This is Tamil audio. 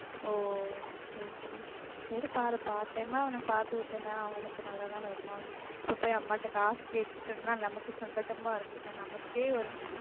ஒசேரிச்சேரி சேரி பாரு part time அ அவன பார்த்து விட்டனா அவனுக்கு நல்லா தான இருக்கும் இப்ப போய் அம்மாட்ட காசு கேட்டுக்கிட்டு இருந்தா நமக்கு சங்கடமா இருக்கும் நமக்கே ஒரு